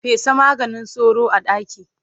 Fesa maganin sauro a ɗaki.